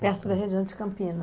Perto da região de Campinas.